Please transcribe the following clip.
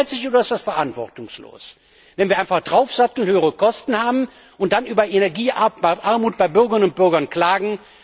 Ist das ehrgeizig oder ist das verantwortungslos, wenn wir einfach draufsatteln, höhere Kosten haben und dann über Energiearmut bei Bürgerinnen und Bürgern klagen?